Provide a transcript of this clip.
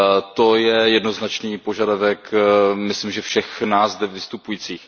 To je jednoznačný požadavek myslím si všech nás zde vystupujících.